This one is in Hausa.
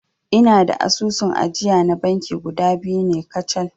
Ina da asusun ajiya na banki guda biyu ne kacal